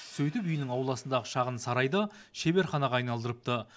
сөйтіп үйінің ауласындағы шағын сарайды шеберханаға айналдырыпты